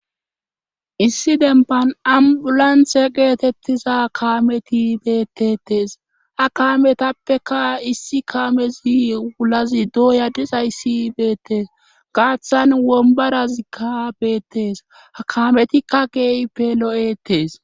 Issi demban ambulanthe geetettiza kaameti beettetes ha kaametappeka issi kaamezi wulazi dooyadis hayssi beettees gaaththan wombarazikka beettes akaametikka geeyi pelo7etees.